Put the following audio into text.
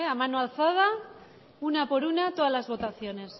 mano alzada una por una tpdas las votaciones